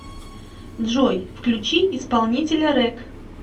джой включи исполнителя рэк